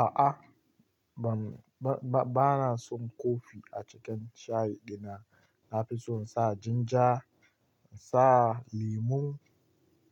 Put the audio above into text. A'a ba na son kofi a cikin shayi dina. Na fi so in sa jinja, in sa lemun